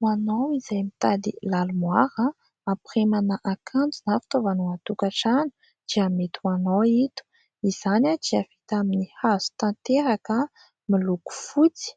Ho anao izay mitady lalimoara ampirimana akanjo na fitaovana ao an-tokantrano dia mety ho anao ito. Izany dia vita amin'ny hazo tanteraka, miloko fotsy,